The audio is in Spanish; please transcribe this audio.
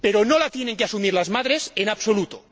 Pero no la tienen que asumir las madres en absoluto.